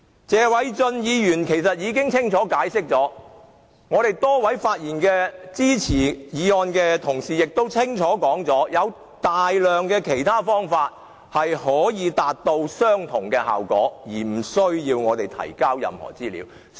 謝偉俊議員已清楚解釋，多位發言支持議案的同事亦清楚說明大量其他可達至相同效果的方法，而無須提交任何資料。